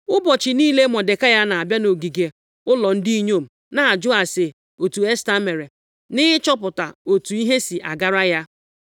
Ụbọchị niile, Mọdekai na-abịa nʼogige ụlọ ndị inyom na-ajụ ase otu Esta mere, nʼịchọpụta otu ihe si agara ya.